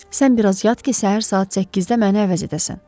Sən bir az yat ki, səhər saat 8-də məni əvəz edəsən.